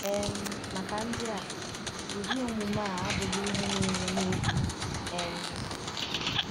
um Maka ndị a, ụdị omume a abụghị ihe na-eme n’efu. um